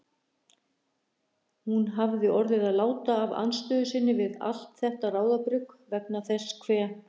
Hún hafði orðið að láta af andstöðu sinni við allt þetta ráðabrugg vegna þess hve